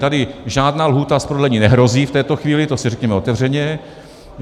Tady žádná lhůta z prodlení nehrozí v této chvíli, to si řekněme otevřeně.